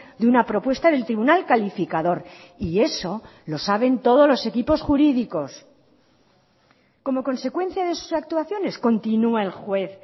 de una propuesta del tribunal calificador y eso lo saben todos los equipos jurídicos como consecuencia de sus actuaciones continua el juez